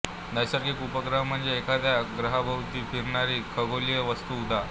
नैसर्गिक उपग्रह म्हणजे एखाद्या ग्रहाभोवती फिरणारी खगोलीय वस्तू उदा